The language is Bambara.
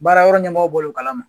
Baara yɔrɔ ɲɛmɔgɔw bɔl'o kala ma